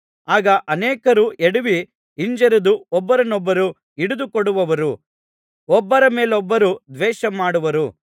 ಆಗ ಅನೇಕರು ಎಡವಿ ಹಿಂಜರಿದು ಒಬ್ಬರನ್ನೊಬ್ಬರು ಹಿಡಿದುಕೊಡುವರು ಒಬ್ಬರ ಮೇಲೊಬ್ಬರು ದ್ವೇಷ ಮಾಡುವರು